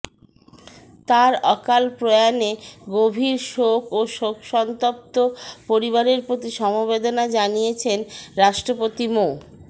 তার অকাল প্রয়াণে গভীর শোক ও শোকসন্তপ্ত পরিবারের প্রতি সমবেদনা জানিয়েছেন রাষ্ট্রপতি মো